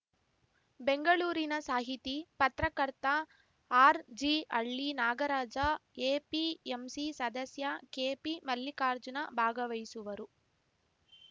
ಬೆಂಗಳೂರಿನ ಸಾಹಿತಿ ಪತ್ರಕರ್ತ ಆರ್‌ಜಿಹಳ್ಳಿ ನಾಗರಾಜ ಎಪಿಎಂಸಿ ಸದಸ್ಯ ಕೆಪಿಮಲ್ಲಿಕಾರ್ಜುನ ಭಾಗವಹಿಸುವರು